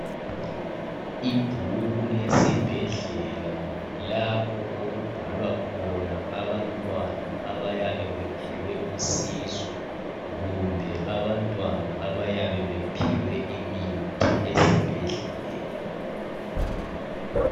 Ibhuku lesibhedlela lapho okubhalwa khona abantwana abayabe bephiwe usizo kumbe abantwana abayabe bephiwe imithi esibhedlela.